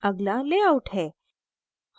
अगला layout है